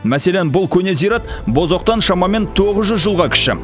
мәселен бұл көне зират бозоқтан шамамен тоғыз жүз жылға кіші